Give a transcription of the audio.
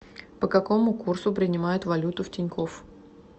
по какому курсу принимают валюту в тинькофф